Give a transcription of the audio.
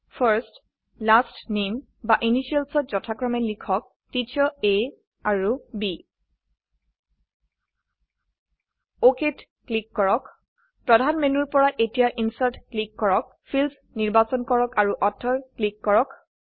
first last নামে বা Initialsত যথাক্ৰমে লিখক টিচাৰ আ আৰু B অক ক্লিক কৰক প্ৰধান মেনুৰ পৰা এতিয়া ইনচাৰ্ট ক্লিক কৰক ফিল্ডছ নিৰ্বাচন কৰক আৰু অথৰ ক্লিক কৰক